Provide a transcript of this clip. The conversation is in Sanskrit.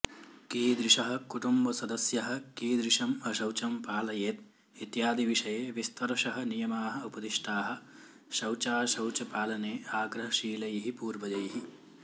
कीदृशः कुटुम्बसदस्यः कीदृशम् अशौचं पालयेद् इत्यादिविषये विस्तरशः नियमाः उपदिष्टाः शौचाशौचपालने आग्रहशीलैः पूर्वजैः